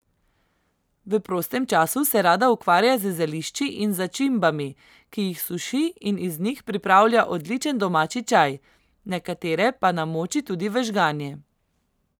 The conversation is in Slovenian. V prostem času se rada ukvarja z zelišči in začimbami, ki jih suši in iz njih pripravlja odličen domači čaj, nekatere pa namoči tudi v žganje.